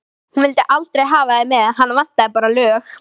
Hún vildi aldrei hafa þig með, hana vantaði bara lög.